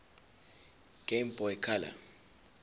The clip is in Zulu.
game boy color